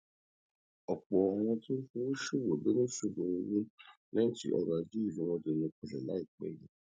òpò àwọn tó ń fowó ṣòwò ló níṣòro owó léyìn tí ọrò ajé ìlú wọn dẹnu kọlè lénu àìpé yìí